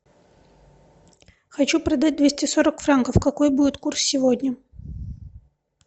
хочу продать двести сорок франков какой будет курс сегодня